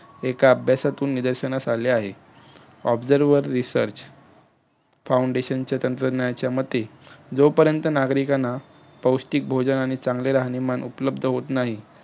एका अभ्यासातून निदर्षणास आले आहे. observer, research foundation च्या मते जोपर्यंत नागरिकांना पौष्टिक भोजन आणि चांगले राहणीमान उपलब्ध होत नाही,